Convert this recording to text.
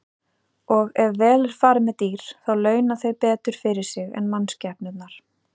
Og ef vel er farið með dýr þá launa þau betur fyrir sig en mannskepnurnar.